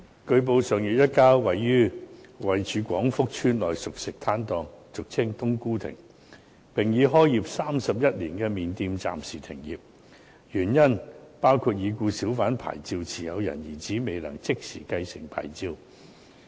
據報，上月一家在廣福邨內熟食攤檔已開業31年的麵店暫時停業，原因包括已故小販牌照持有人的兒子未能即時繼承牌照。